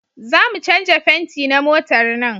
Za mu canja fenti na motar nan